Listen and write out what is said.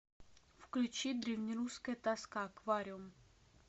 включи древнерусская тоска аквариум